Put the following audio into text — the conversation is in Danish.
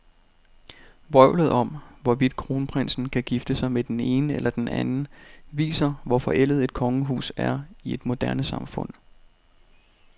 Vrøvlet om, hvorvidt kronprinsen kan gifte sig med den ene eller den anden, viser, hvor forældet et kongehus er i et moderne samfund.